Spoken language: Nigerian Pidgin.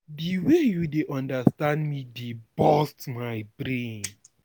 Di wey you dey understand me dey burst my brain.